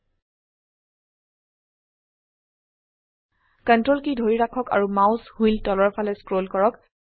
Ctrl key ধৰি ৰাখক আৰু মাউস হুইল তলৰ ফালে স্ক্ৰল কৰক